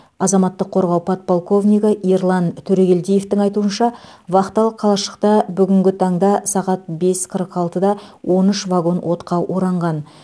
азаматтық қорғау подполковнигі ерлан төрегелдиевтің айтуынша вахталық қалашықта бүгінгі таңда сағат бес қырық алтыда он үш вагон отқа оранған